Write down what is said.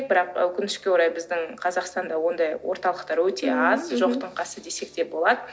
бірақ өкінішке орай біздің қазақстанда ондай орталықтар өте аз жоқтың қасы десек те болады